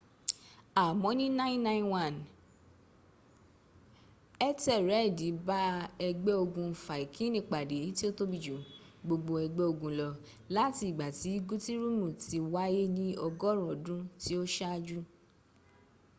àmọ́ ní 991 ẹ́tẹ́rẹ́ẹ̀dì bá ẹgbẹ́ ogun fáikini pàdé tí ó tóbi jù gbogbo ẹgbẹ́ ogun lọ láti ìgbà tí gútírùmi tí ó wáyé ní ọgọ́run ọdún tí ó ṣájú